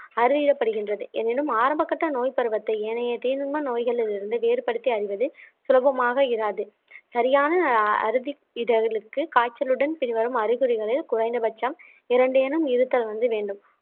அறியப்படுகின்றது எனினும் ஆரம்பகட்ட நோய் பருவத்தை ஏனைய தீங்கு நோய்களிலிருந்து வேறுபடுத்தி அறிவது சுலபமாக இராது சரியான காய்ச்சலுடன் பின்வரும் அறிகுறிகளில் குறைந்தபட்சம் இரண்டு எனும் இருத்தல் வந்து வேண்டும்